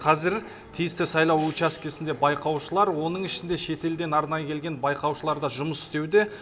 қазір тиісті сайлау учаскесінде байқаушылар оның ішінде шетелден арнайы келген байқаушылар да жұмыс істеуде